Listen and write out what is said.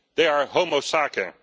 They are homo sacer